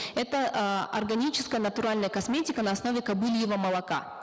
это э органическая натуральная косметика на основе кобыльего молока